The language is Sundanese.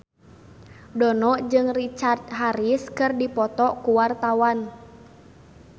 Dono jeung Richard Harris keur dipoto ku wartawan